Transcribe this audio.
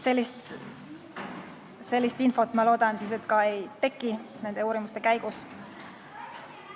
Sellist infot, ma loodan, nende uurimiste käigus ka ei teki.